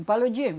O paludismo.